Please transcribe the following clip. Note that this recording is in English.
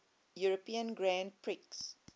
european grand prix